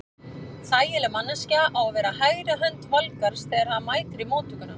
Þægileg manneskja á að vera hægri hönd Valgarðs þegar hann mætir í móttökuna.